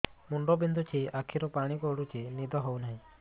ମୁଣ୍ଡ ବିନ୍ଧୁଛି ଆଖିରୁ ପାଣି ଗଡୁଛି ନିଦ ହେଉନାହିଁ